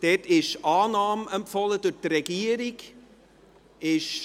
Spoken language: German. Dort ist Annahme durch die Regierung empfohlen.